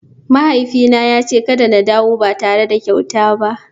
Mahaifina ya ce kada in dawo ba tare da kyauta ba.